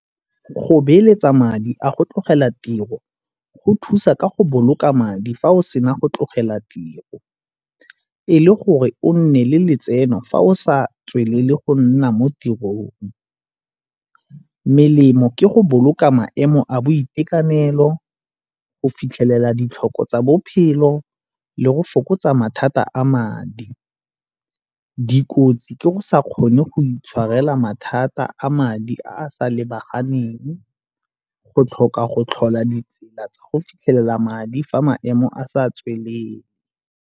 Go beeletsa madi a go tlogela tiro go thusa ka go boloka madi fa o sena go tlogela tiro, e le gore o nne le letseno fa o sa tswelele go nna mo tirong. Melemo ke go boloka maemo a boitekanelo, go fitlhelela ditlhoko tsa bophelo le go fokotsa mathata a madi. Dikotsi tse ke go sa kgone go itshwarela mathata a madi a a sa lebaganeng go tlhoka go tlhola ditsela tsa go fitlhelela madi fa maemo a sa tsweleng.